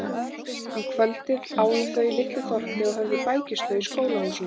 Um kvöldið áðu þau í litlu þorpi og höfðu bækistöð í skólahúsinu.